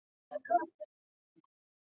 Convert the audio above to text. Það heyrðist allt í einu í stofuklukkunni.